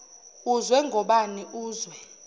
uzwe ngobani uzwe